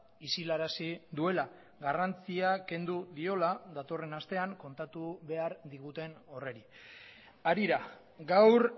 isilarazi duela garrantzia kendu diola datorren astean kontatu behar diguten horri harira gaur